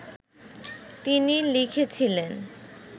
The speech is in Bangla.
তিনি লিখেছিলেন